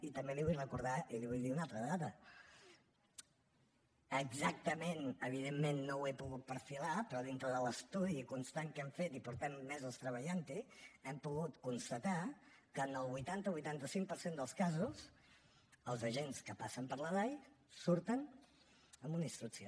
i també li vull recordar i li vull dir una altra dada exactament evidentment no ho he pogut perfilar però dintre de l’estudi constant que hem fet i fa mesos que hi treballem hem pogut constatar que en el vuitanta o vuitanta cinc per cent dels casos els agents que passen per la dai surten amb una instrucció